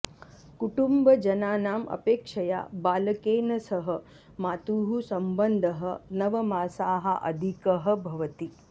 कुटुम्बजनानाम् अपेक्षया बालकेन सह मातुः सम्बन्धः नवमासाः अधिकः भवति